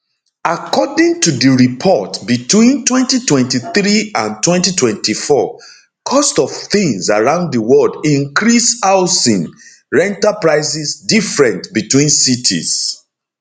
according to di report between 2023 and 2024 cost of tins around di world increase housing rental prices different between cities